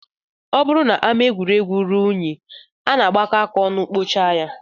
Ọ bụrụ na ama egwuregwu ruo unyi, a na-agbakọ aka ọnụ kpochaa ya